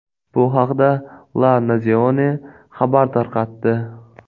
Bu haqda La Nazione xabar tarqatdi .